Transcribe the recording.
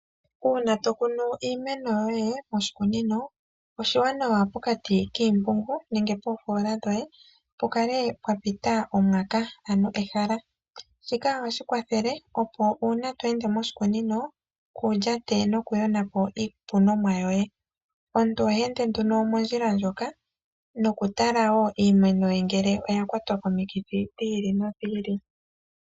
Uuna to kunu iimeno yoye moshikunino, oshiwanawa pokati kiimpungu nenge koofoola dhoye pu kale pwa pita omwaka ano ehala. Shika ohashi kwathele opo uuna to ende moshikunino kuu lyate nokuyonapo iikunomwa yoye. Omuntu oha ende nduno mondjila moka noku tala wo iimeno ye ngele oya kwatwa komikithi dhi ili nodhi ili.